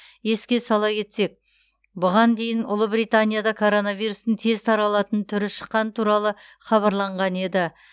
еске сала кетсек бұған дейін ұлыбританияда коронавирустың тез таралатын түрі шыққаны туралы хабарланған еді